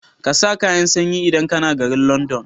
ƙasa kayan sanyi idan kAna garin London